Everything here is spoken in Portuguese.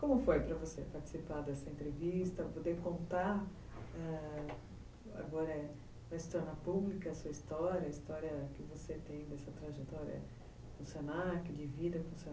Como foi para você participar dessa entrevista, poder contar ãh... agora, na história pública, a sua história, a história que você tem dessa trajetória com o se na que,